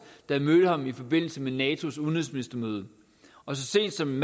jeg mødte ham i forbindelse med natos udenrigsministermøde og så sent som